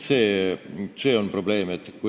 See on probleem.